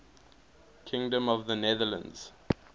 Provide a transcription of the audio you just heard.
kingdom of the netherlands